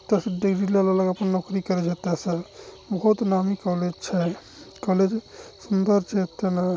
अपनी नौकरी करत जाते से बहुत नामी कॉलेज छे कॉलेज सुंदर छे